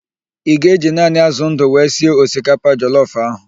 Ị ga-eji naanị ázụ̀ ndụ wee sie osikapa jọlọf ahụ?